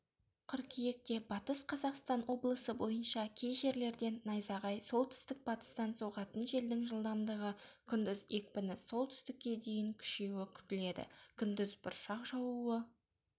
қыркүйекте батыс қазақстан облысы бойынша кей жерлерде найзағай солтүстік-батыстан соғатын желдің жылдамдығы күндіз екпіні с-ке дейін күшеюі күтіледі күндіз бұршақ жаууы